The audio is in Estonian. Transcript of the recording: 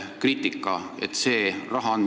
See kriitika on minuni jõudnud.